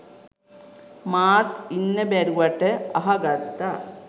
මාත් ඉන්න බැරිවට අහ ගත්තා